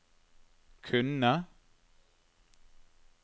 kunne